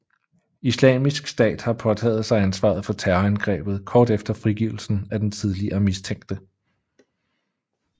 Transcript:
Islamisk stat har påtaget sig ansvaret for terrorangrebet kort efter frigivelsen af den tidligere mistænkte